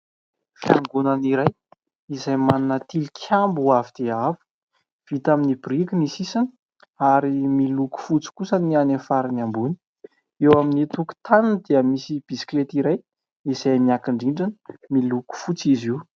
Fiangonana iray izay manana tilikambo avo dia avo vita amin'ny biriky ny sisiny ary miloko fotsy kosa ny any farany ambony. Eo amin'ny tokotaniny dia misy bisikileta iray izay niankin-drindrina miloko fotsy izy io.